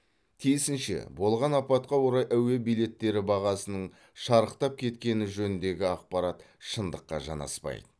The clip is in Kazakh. тиісінше болған апатқа орай әуе билеттері бағасының шарықтап кеткені жөніндегі ақпарат шындыққа жанаспайды